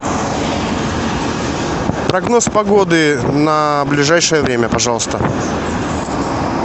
прогноз погоды на ближайшее время пожалуйста